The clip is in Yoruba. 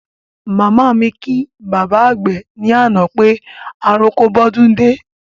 Màmá mi kí bàbá àgbè ní àná pé àròko bódún dé